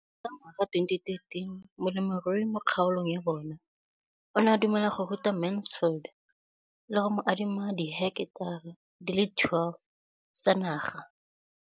Ka ngwaga wa 2013, molemirui mo kgaolong ya bona o ne a dumela go ruta Mansfield le go mo adima di heketara di le 12 tsa naga.